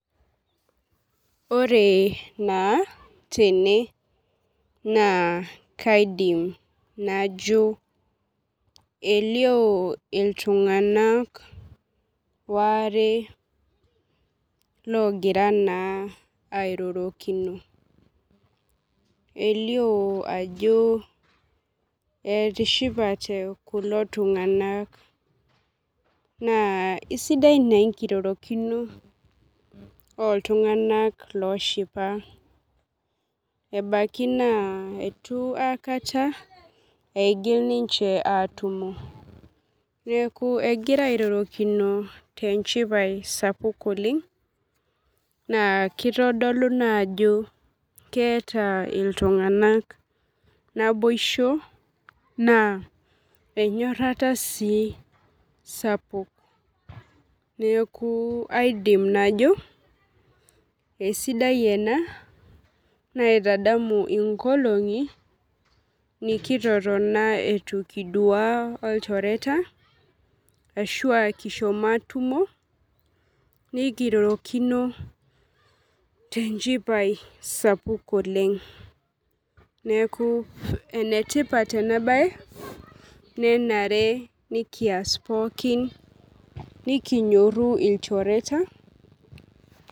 Ore na tene na kaidim najo elio ltunganak waare logira naa airorokino elio ajo etishipate kulo tunganak na esidai enkirorokibo oltunganak oshipa ebaki ntu aikata igil atumo egira airorokino tenchipae sapuk oleng na kitadolu naa ajo keeta iltunganak naboisho na enyorara sii sapuk neaku aidim najo esidai ena naitadamu nkolongi nikitotoni itu kidua olchoreta ashu it kipuo atumo nekirorokino tenchipae sapuk oleng neaku enetipat enabae nenare nikias pooki nikinyoru lchoreta.